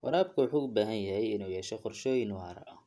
Waraabka wuxuu u baahan yahay inuu yeesho qorshooyin waara.